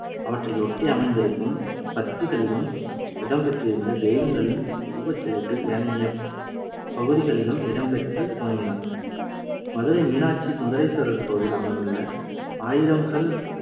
அவற்றையொட்டி அமைந்திருக்கும் பத்திகளிலும் இடம்பெற்றிருந்த தெய்வங்களின் உருவச் சிலைகள் ஏனைய பகுதிகளிலும் இடம்பெற்று துவங்கின. மதுரை மீனாட்சி சுந்தரேஸ்வரர் கோவில் அமைந்துள்ள ஆயிரம்கால்